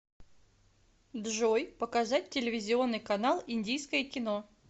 джой показать телевизионный канал индийское кино